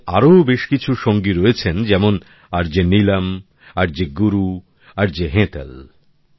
ওঁর আরও বেশ কিছু সঙ্গী রয়েছেন যেমন আরজে নীলম আরজে গুরু ও আরজে হেতল